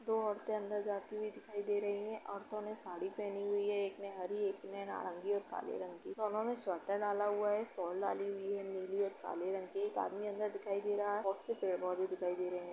दो औरते अंदर जाती हुई दिखाई दे रहीं है। औरतों ने साड़ी पहनी हुई है एक ने हरी एक ने नारंगी और काले रंग की दोनों ने स्वेटर डाला हुआ है शॉल डाली हुई है नीली और काले रंग की एक आदमी अंदर दिखाई दे रहा है। बहोत से पेड़ पौधे भी दिखाई दे रहे है।